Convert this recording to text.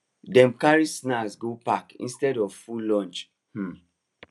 dem carry snack go park instead of full lunch um